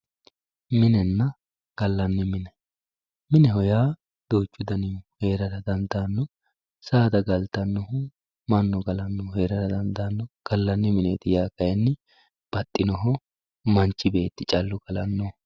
minenna gallanni mine mineho yaa duuchu danihu heerara dandaanno saada galtannohu mannu galannohu heerara dandaanno gallanni mineeti yaa kayiinni baxxinoho manchi beetti callu galannoho.